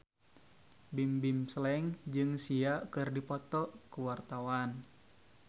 Bimbim Slank jeung Sia keur dipoto ku wartawan